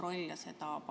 V a h e a e g